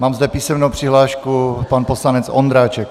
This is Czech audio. Mám zde písemnou přihlášku, pan poslanec Ondráček.